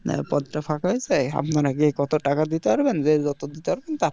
পদ টা ফাঁকা হয়েছে আপনারা কে কত টাকা দিতে পারবেন যে যত দিতে পারবেন,